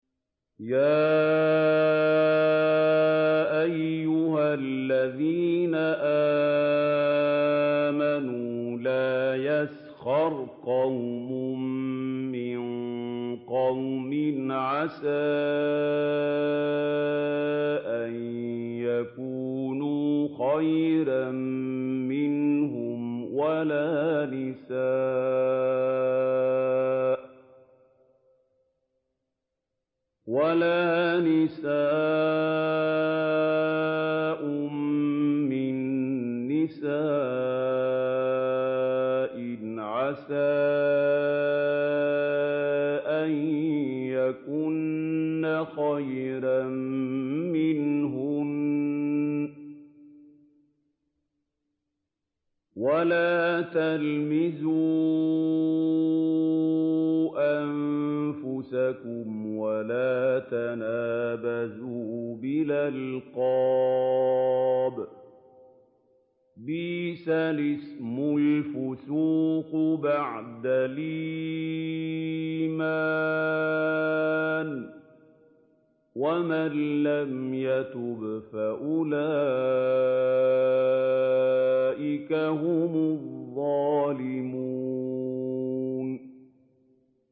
يَا أَيُّهَا الَّذِينَ آمَنُوا لَا يَسْخَرْ قَوْمٌ مِّن قَوْمٍ عَسَىٰ أَن يَكُونُوا خَيْرًا مِّنْهُمْ وَلَا نِسَاءٌ مِّن نِّسَاءٍ عَسَىٰ أَن يَكُنَّ خَيْرًا مِّنْهُنَّ ۖ وَلَا تَلْمِزُوا أَنفُسَكُمْ وَلَا تَنَابَزُوا بِالْأَلْقَابِ ۖ بِئْسَ الِاسْمُ الْفُسُوقُ بَعْدَ الْإِيمَانِ ۚ وَمَن لَّمْ يَتُبْ فَأُولَٰئِكَ هُمُ الظَّالِمُونَ